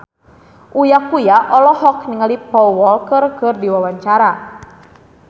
Uya Kuya olohok ningali Paul Walker keur diwawancara